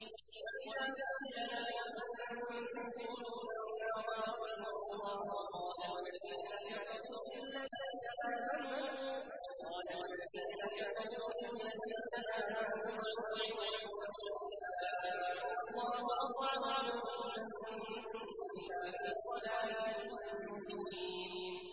وَإِذَا قِيلَ لَهُمْ أَنفِقُوا مِمَّا رَزَقَكُمُ اللَّهُ قَالَ الَّذِينَ كَفَرُوا لِلَّذِينَ آمَنُوا أَنُطْعِمُ مَن لَّوْ يَشَاءُ اللَّهُ أَطْعَمَهُ إِنْ أَنتُمْ إِلَّا فِي ضَلَالٍ مُّبِينٍ